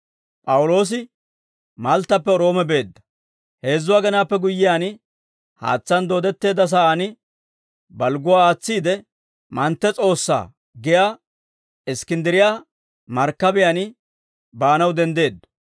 Heezzu agenaappe guyyiyaan, haatsaan dooddetteedda sa'aan balgguwaa aatsiide, «mantte s'oossaa» giyaa Iskkinddiriyaa markkabiyaan baanaw denddeeddo.